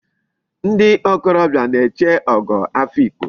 Ndi okorobia na-eche Ogo Afikpo